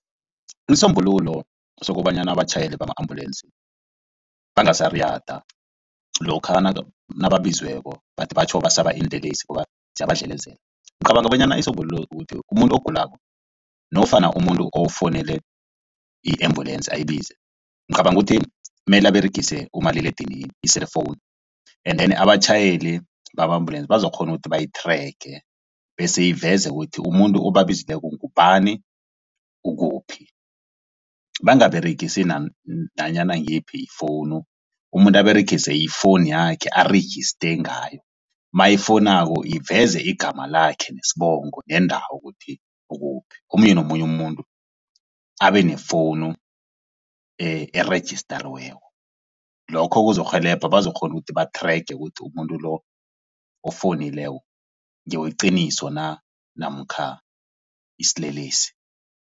Isombululo sokobanyana abatjhayeli bama-ambulance bangasariyada lokha nababiziweko bathi batjho basaba iinlelesi ngoba ziyabadlelezela. Ngicabanga bonyana isombululo ukuthi umuntu ogulako nofana umuntu ofuwunele i-ambulance ayibize ngicabanga ukuthi mele aberegise umaliledinini i-cellphone endeni abatjhayeli bama-ambulance bazokghona ukuthi bayi-tracker bese iveze ukuthi umuntu obabizileko ngubani ukuphi. Bangaberegisi nanyana ngiyiphi ifowunu umuntu aberegise ifowunu yakhe arejiste ngayo mayifonako iveze igama lakhe nesibongo nendawo ukuthi ukuphi. Omunye nomunye umuntu abenefowunu erejistariweko. Lokho kuzokurhelebha bazokghona ukuthi ba-tracker ukuthi umuntu lo ofowunileko ngeweqiniso na namkha isilelesi.